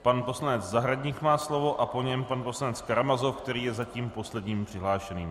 Pan poslanec Zahradník má slovo a po něm pan poslanec Karamazov, který je zatím posledním přihlášeným.